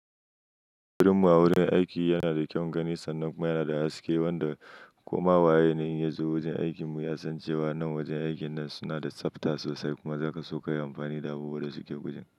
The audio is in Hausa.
Gidanmu a wurin aiki yana da kyaun gani sannan kuma yana da haske wanda koma waye na yi ya zo wajen aikinmu ya san cewa nan wajen aikin nan suna da tsafta sosai kuma zaka so kayi amfani da abubuwan da suke wurin.